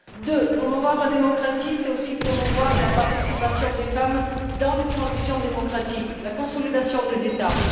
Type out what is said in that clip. Deuxièmement, promouvoir la démocratie, c'est aussi promouvoir la participation des femmes aux transitions démocratiques, à la consolidation des États.